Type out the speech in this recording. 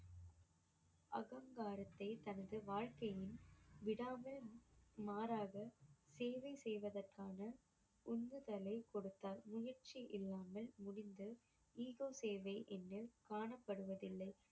அகங்காரத்தை தனது வாழ்க்கையின் விடாமல் மாறாக சேவை செய்வதற்கான உந்துதலை கொடுத்தார் முயற்சி இல்லாமல் காணப்படுவதில்லை